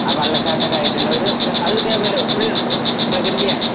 ആ വെള്ളകെട്ടായിട്ടുള്ള ഒരു ആ അത് ഇതേപോലെ ഫുൾ പ്രകൃതി ആണ്